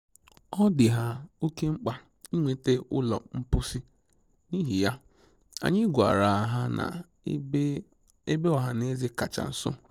Ọ dị ha óke mkpa ịnweta ụlọ mposi, n'ihi ya, anyị gwara ha n'ebe ọhaneze kacha nso.